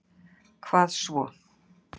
hvað svo